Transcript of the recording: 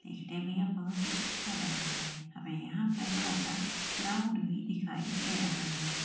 इस टाइम बहुत ही अच्छा लग रहा है हमें यहाँ पर थोडा सा ग्राउंड भी दिखाई दे रहा है।